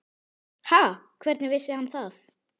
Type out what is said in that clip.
Ha, hvernig vissi hann það?